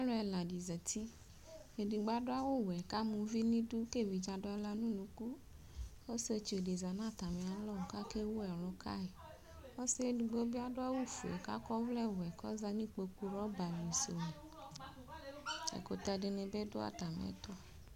Alʋ ɛladi zati edigbl adʋ awʋwɛ kʋ ama ʋvi nʋ idʋ kʋ evidze adʋ aɣla nʋ ʋnʋkʋ ɔsietsu di zanʋ atami alɔ kʋ akewʋ ɛlʋ kayi ɔsi edigbo bi adʋ awʋwɛ kʋ akɔ ɔwlɛwɛ kʋ ɔzati nʋ ikpokʋ rɔbali sʋ ɛkʋtɛ dini bi dʋ atami ɛtʋ